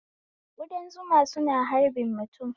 Kudan zuma suna harbin mutum